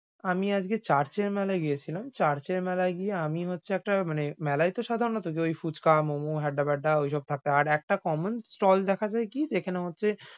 আমি আজকে চারচে মেলায় গিয়েছিলাম। চারচে মেলায় গিয়ে আমি হচ্ছে একটা মানে মেলায় তো সাধারানত যে ঐ ফুচকা momo হেদ্দা বেদ্দা ওইসব থাকে। আর একটা common stall দেখা যায় কি যেখানে হচ্ছে,